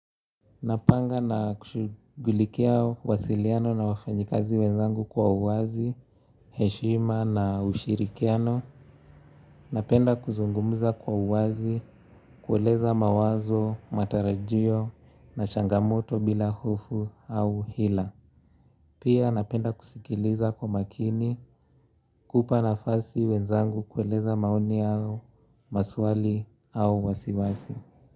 Napanga na kushugulikia wasiliano na wafanyikazi wenzangu kwa uwazi, heshima na ushirikiano. Napenda kuzungumza kwa uwazi kueleza mawazo, matarajio na changamoto bila hofu au hila. Pia napenda kusikiliza kwa makini kupa na fasi wenzangu kueleza maoni yao maswali au wasiwasi.